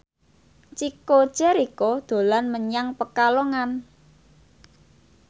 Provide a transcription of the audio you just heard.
Chico Jericho dolan menyang Pekalongan